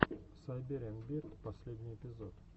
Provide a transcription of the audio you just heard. сайбериан бирд последний эпизод